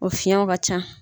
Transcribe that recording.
O finyew ka ca.